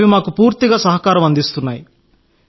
అవి మాకు పూర్తిగా సహకారం అందిస్తున్నాయి